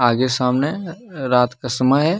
आगे सामने रात का समय है।